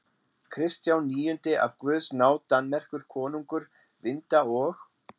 Kristján níundi af guðs náð Danmerkur konungur, Vinda- og